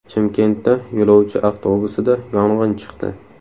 Chimkentda yo‘lovchi avtobusida yong‘in chiqdi .